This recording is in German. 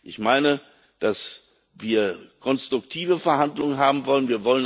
Ich meine, dass wir konstruktive Verhandlungen haben wollen.